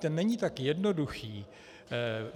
Ten není tak jednoduchý.